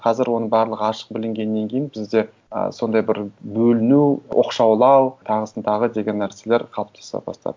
қазір оның барлығы ашық білінгеннен кейін бізде ы сондай бір бөліну оқшаулау тағысын тағы деген нәрселер қалыптаса бастады